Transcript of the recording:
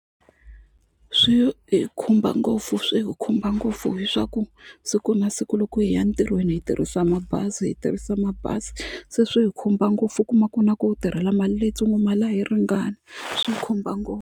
Swi hi khumba ngopfu swi hi khumba ngopfu hi swa ku siku na siku loko hi ya ntirhweni hi tirhisa mabazi hi tirhisa mabazi se swi hi khumba ngopfu u kuma ku na ku u tirhela mali leyitsongo mali a yi ringani swi hi khumba ngopfu.